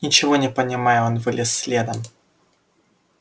ничего не понимая он вылез следом